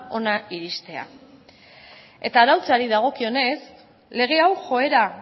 hona iristea eta arautzeari dagokionez lege hau joera